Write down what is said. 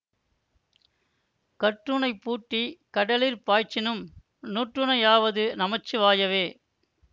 கற்றூணைப்பூட்டி கடலிற் பாய்ச்சினும் நுற்றுணையாவது நமசிவாயவே